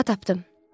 Aha tapdım.